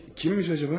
Kimmiş acaba?